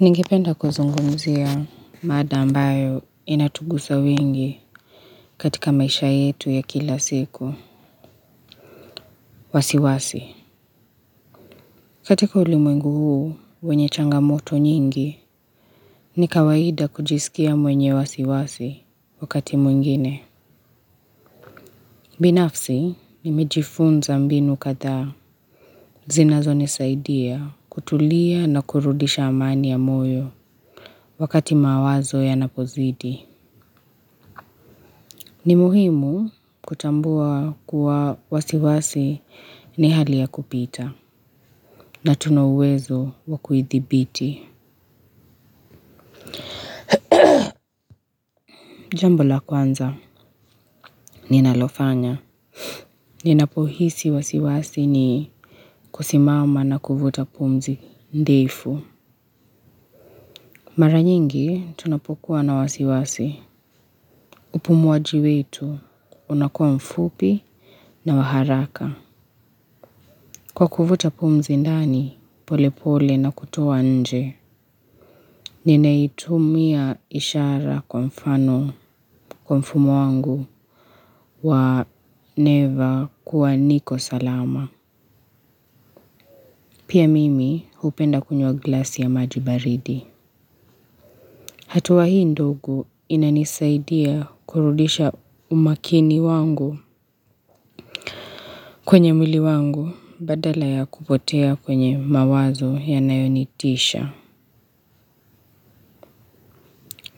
Ningependa kuzungumzia mada ambayo inatugusa wengi katika maisha yetu ya kila siku, wasiwasi. Katika ulimwengu huu wenye changamoto nyingi, ni kawaida kujisikia mwenye wasiwasi, wakati mwingine. Binafsi, nimejifunza mbinu kadhaa, zinazonisaidia kutulia na kurudisha amani ya moyo wakati mawazo yanapozidi. Ni muhimu, kutambua kuwa wasiwasi ni hali ya kupita. Na tuna uwezo wa kuithibiti. Jambo la kwanza, ninalofanya ninapohisi wasiwasi ni kusimama na kuvuta pumzi ndefu. Mara nyingi tunapokuwa na wasiwasi, upumuaji wetu, unakua mfupi na wa haraka. Kwa kuvuta pumzi ndani pole pole na kutoa nje, ninaitumia ishara kwa mfano, kwa mfumo wangu wa neva kuwa niko salama. Pia mimi hupenda kunywa glasi ya maji baridi. Hatua hii ndogo inanisaidia kurudisha umakini wangu, kwenye mwili wangu badala ya kupotea kwenye mawazo yanayonitisha.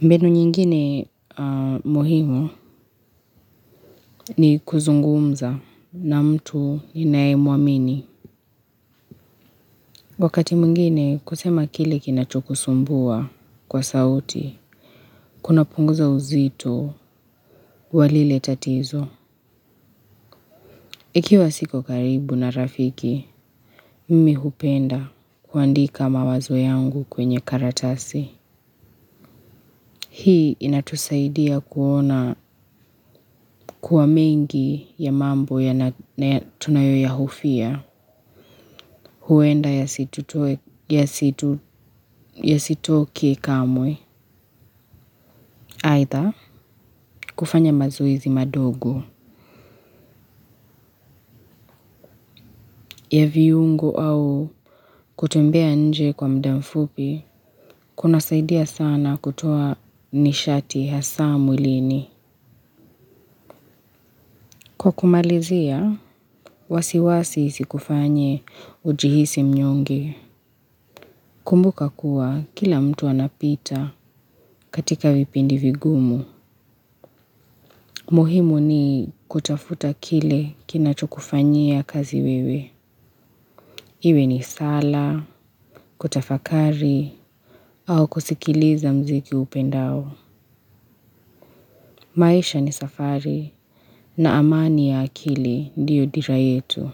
Mbinu nyingine muhimu, ni kuzungumza na mtu ninaye muamini. Wakati mwngine kusema kile kinachokusumbua kwa sauti, kunapunguza uzito wa lile tatizo. Ikiwa siko karibu na rafiki, mimi hupenda kuandika mawazo yangu kwenye karatasi. Hii inatusaidia kuona kuwa mengi ya mambo tunayo yahofia, huenda yasitoke kamwe. Aidha, kufanya mazoezi madogo, ya viungo au kutumbea nje kwa muda mfupi, kunasaidia sana kutoa nishati hasa mwilini. Kwa kumalizia, wasiwasi isikufanye ujihisi mnyonge. Kumbuka kuwa, kila mtu anapita katika vipindi vigumu. Muhimu ni kutafuta kile kinachokufanyia kazi wewe. Iwe ni sala, kutafakari, au kusikiliza mziki huupendao. Maisha ni safari, na amani ya akili ndiyo dira yetu.